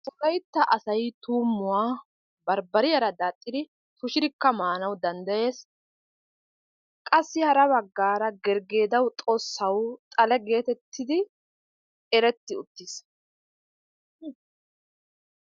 Wolaytta asay tuummuwa barbariyaara daaxxidi tushidikka maanawu dandayes. Qassi hara baggaara gergeedawu, xossawu xale geetettiddi eretti uttis.